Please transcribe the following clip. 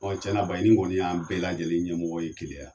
Ɔ tiɲɛna Baɲini kɔni y'an bɛɛ lajɛlen ɲɛmɔgɔ ye Keleya